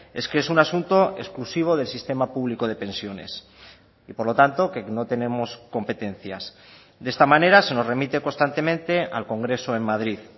es que es un asunto exclusivo del sistema público de pensiones y por lo tanto que no tenemos competencias de esta manera se nos remite constantemente al congreso en madrid